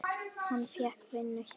Hann fékk vinnu hjá